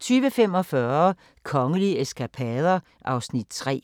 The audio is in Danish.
20:45: Kongelige eskapader (Afs. 3)